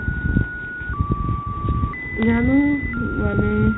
জানো মানে